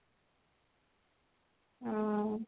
ହଁ